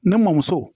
Ne mɔmuso